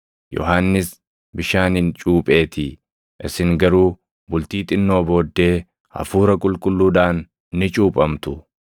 Yohannis bishaaniin cuupheetii; isin garuu bultii xinnoo booddee Hafuura Qulqulluudhaan ni cuuphamtu.”